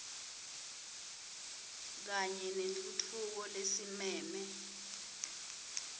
kanye nentfutfuko lesimeme